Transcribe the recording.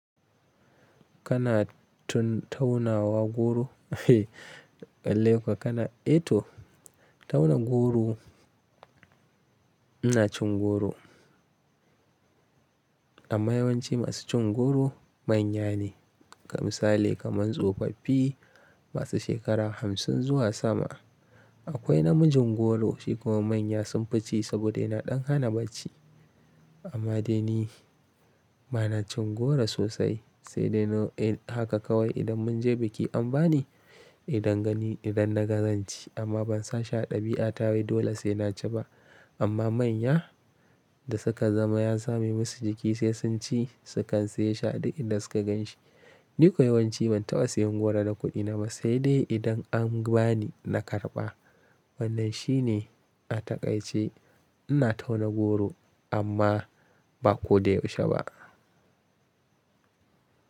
Kana tun tauna wa goro lallai ko kana eh to tauna goro ina cin goro. Amma yawanci masu cin goro manya ne, ka misali kaman tsofaffi masu shekara hamsin zuwa sama. Akwai namijin goro shi kuma manya sun fi ci saboda yana ɗan hana bacci. Amma dai ni ba na cin goro sosai, sai dai haka kawai idan mun je biki an bani idan gani idan na ga zan ci amma ban sa shi a ɗabi'a ta wai dole sai na ci ba. Amma manya da suka zama ya sabe musu jiki sai sun ci su kan saye shi a duk in da suka gan shi. Ni ko yawanci ban taɓa siyan goro da kuɗi na ba sai dai idan an bani na karɓa. Wannan shi ne ataƙaice ina tauna goro amma ba ko da yaushe ba.